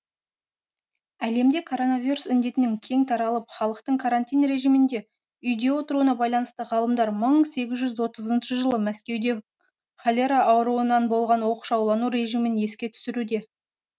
әлемде коронавирус індетінің кең таралып халықтың карантин режимінде үйде отыруына байланысты ғалымдар мың сегіз жүз отызыншы жылы мәскеуде холера ауруынан болған оқшаулану режимін еске түсіруде